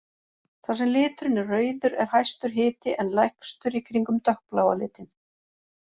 Þar sem liturinn er rauður er hæstur hiti en lægstur í kringum dökkbláa litinn.